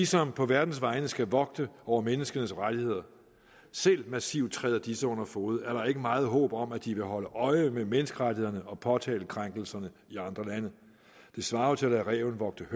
som på verdens vegne skal vogte over menneskenes rettigheder selv massivt træder disse under fode er der ikke meget håb om at de vil holde øje med menneskerettighederne og påtale krænkelserne i andre lande det svarer jo til at lade ræven vogter